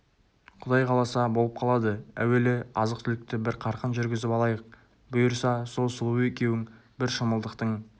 құдай қаласа болып қалады әуелі азық-түлікті бір қарқын жүргізіп алайық бұйырса сол сұлу екеуің бір шымылдықтың